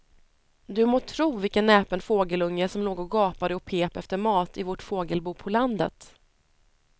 Du må tro vilken näpen fågelunge som låg och gapade och pep efter mat i vårt fågelbo på landet.